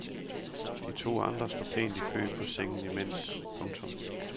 De to andre står pænt i kø på sengen imens. punktum